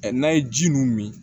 n'an ye ji mun min